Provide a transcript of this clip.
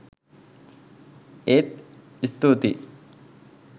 ඒත් ස්තුතියි!